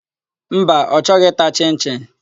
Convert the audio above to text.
Mba, ọ chọghị ịta chịn-chịn.